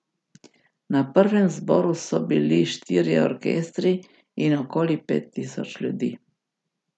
Na prvem zboru so bili štirje orkestri in okoli pet tisoč ljudi.